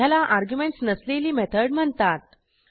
ह्याला अर्ग्युमेंटस नसलेली मेथड म्हणतात